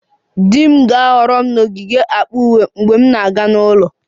Di m ga-ahọrọ m n'ogige akpa uwe mgbe ọ na-aga n'ụlọ